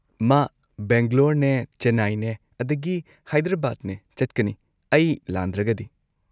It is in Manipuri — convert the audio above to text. ꯃꯥ ꯕꯦꯡꯒ꯭ꯂꯣꯔꯅꯦ ꯆꯦꯟꯅꯥꯢꯅꯦ ꯑꯗꯒꯤ ꯍꯥꯏꯗ꯭ꯔꯕꯥꯗꯅꯦ ꯆꯠꯀꯅꯤ ꯑꯩ ꯂꯥꯟꯗ꯭ꯔꯒꯗꯤ꯫